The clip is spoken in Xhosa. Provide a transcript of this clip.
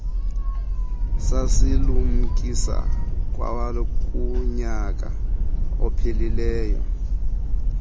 sasilumkisa kwakunyaka ophelileyo